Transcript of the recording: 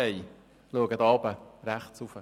Ich schaue hier im Saal nach rechts oben.